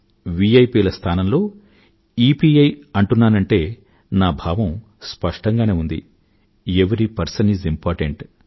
VIP ల స్థానంలో EPI అంటున్నానంటే నా భావం స్పష్టంగా ఉంది ఎవరీ పెర్సన్ ఐఎస్ ఇంపోర్టెంట్